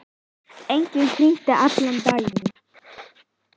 Ég hringi allan daginn.